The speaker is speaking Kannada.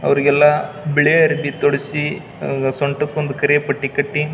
ಅವ್ರಿಗೆಲ್ಲಾ ಬಿಳಿ ಅರ್ಬಿ ತೊಡ್ಸಿ ಅಹ್ ಸೊಂಟಕೊಂದು ಕರಿ ಪಟ್ಟಿ ಕಟ್ಟಿ.